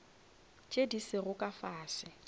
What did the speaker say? tše di sego ka fase